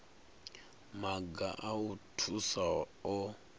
maga a u thusa o